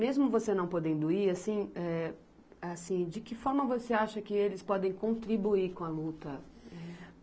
Mesmo você não podendo ir, assim, eh, assim, de que forma você acha que eles podem contribuir com a luta?